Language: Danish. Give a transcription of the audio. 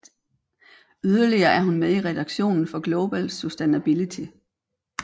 Yderligere er hun med i redaktionen for Global Sustainability